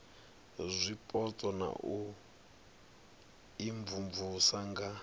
zwipotso na u imvumvusa nga